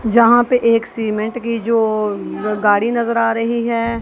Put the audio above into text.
जहां पे एक सीमेंट की जो गाड़ी नजर आ रही है।